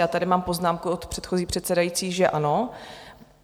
Já tady mám poznámku od předchozí předsedající, že ano.